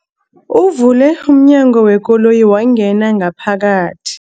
Uvule umnyango wekoloyi wangena ngaphakathi.